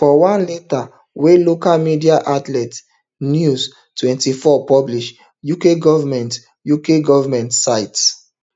for one letter wey local media outlet news twenty-four publish uk goment uk goment cite